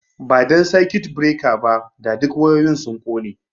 Da ba dan circuit breaker ba, da duk wayoyin sun kone